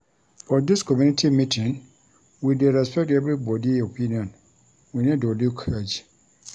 For dis community meeting, we dey respect everybodi opinion, we no dey look age.